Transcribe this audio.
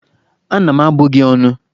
Ana m abụ gị ónù!